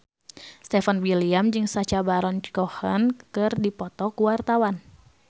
Stefan William jeung Sacha Baron Cohen keur dipoto ku wartawan